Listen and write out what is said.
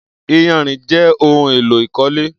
Iyànrín jè óhùn éló ikọ̀lé